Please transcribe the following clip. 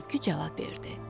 Tülkü cavab verdi.